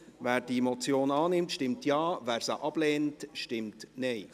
Wer die Motion annimmt, stimmt Ja, wer diese ablehnt, stimmt Nein.